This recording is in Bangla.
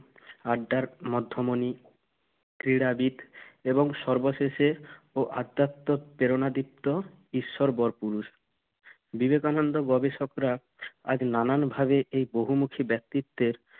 আড্ডার মধ্যমণি, ক্রীড়াবিদ এবং সর্বশেষে ও অধ্যাত্ব প্রেরণাদীপ্ত ঈশ্বর বরপুরুষ। বিবেকানন্দ গবেষকরা আজ নানাভাবে এই বহুমুখি ব্যক্তিত্বের